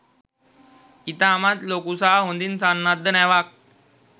ඉතාමත් ලොකු සහ හොඳින් සන්නද්ධ නැවක්.